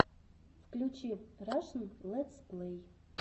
включи рашн летсплей